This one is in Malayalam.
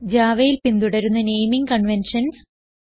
javaയിൽ പിന്തുടരുന്ന നേമിംഗ് കൺവെൻഷൻസ്